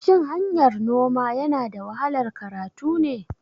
Shin hanyar noma yanada wahalar karatu ne?